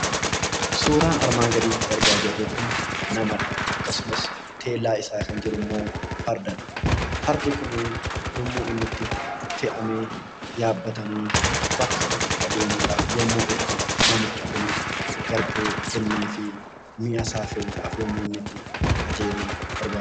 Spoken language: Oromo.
Suuraan armaan gaditti argaa jirru kun namadha. Akkasumas teellaa isaa kan jirummoo Fardadha. Fardi kunii yommuu inni itti fe'amee yaabbatamee bakka tokko adeemuudhaaf yommuu itti namichi kun garbuu kenneefi mi'asaa fe'uudhaaf yemmuu inni itti qajeeluu barbaadudha.